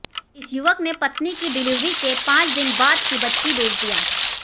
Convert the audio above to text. इस युवक ने पत्नी की डिलीवरी के पांच दिन बाद की बच्चा बेच दिया